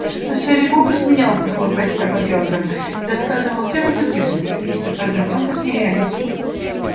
но серый бобр смеялся хлопая себя по бёдрам и рассказывал всем о случившемся и все тоже громко смеялись